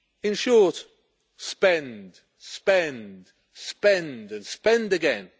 In short, spend, spend, spend and spend again.